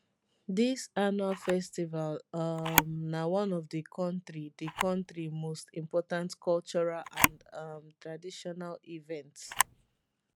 dis annual festival um na one of di kontri di kontri most important cultural and um traditional events